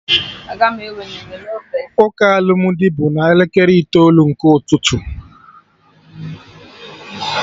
Ụka alụmdi bụ na elekere itoolu nke ụtụtụ